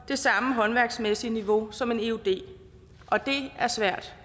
det samme håndværksmæssige niveau som en eud og det er svært